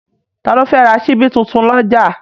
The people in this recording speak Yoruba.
Ta ló fẹ́ ra ṣíbí tuntun lọ́jà?